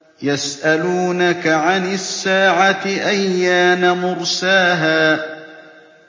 يَسْأَلُونَكَ عَنِ السَّاعَةِ أَيَّانَ مُرْسَاهَا